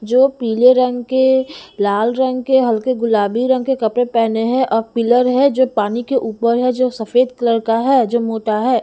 जो पीले रंग के लाल रंग के हल्के गुलाबी रंग के कपड़े पहने हैं और पिलर है जो पानी के ऊपर है जो सफेद कलर का है जो मोटा है।